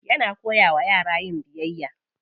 Yana koya wa yara yin biyayya.